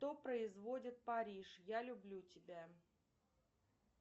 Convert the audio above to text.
кто производит париж я люблю тебя